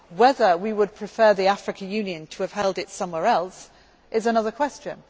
Whether we would prefer the African Union to have held its summit somewhere else is another question